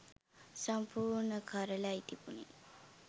සමිපූර්ණ කරලයි තිබුනේ.